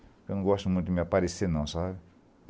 Eu não gosto muito de me aparecer, não, sabe?